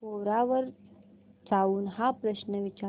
कोरा वर जाऊन हा प्रश्न विचार